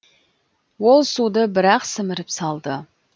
ол суды бір ақ сіміріп салды